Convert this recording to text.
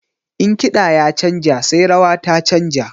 In kiɗa ya canja sai rawa ta canja.